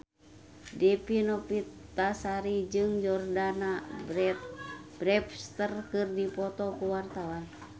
Dewi Novitasari jeung Jordana Brewster keur dipoto ku wartawan